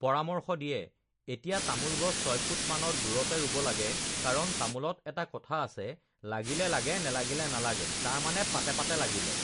পৰামৰ্শ দিয়ে ৷ এতিয়া তামোল গছ ছয়ফুট মানত দূৰতে ৰুব লাগে কাৰণ তামোলত এটা কথা আছে লাগিলে লাগে নেলাগিলে নালাগে তাৰমানে পাতে পাতে লাগিলে